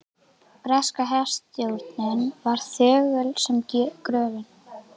Breska herstjórnin var þögul sem gröfin.